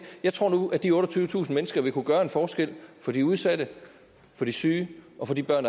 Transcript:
jeg tror nu at de otteogtyvetusind mennesker vil kunne gøre en forskel for de udsatte for de syge og for de børn